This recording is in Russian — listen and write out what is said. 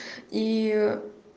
ии